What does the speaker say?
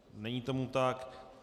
Není tomu tak.